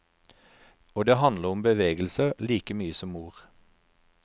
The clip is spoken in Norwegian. Og det handler om bevegelser like mye som ord.